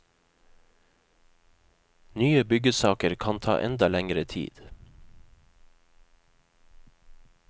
Nye byggesaker kan ta enda lengre tid.